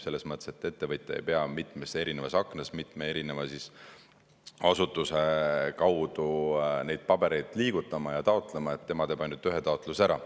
Selles mõttes, et ettevõtja ei pea mitmes erinevas aknas mitme erineva asutuse kaudu neid pabereid liigutama ja taotlema, tema teeb ainult ühe taotluse ära.